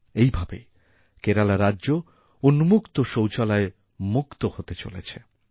এইভাবেই কেরালা রাজ্য উন্মুক্তশৌচালয়মুক্ত হতে চলেছে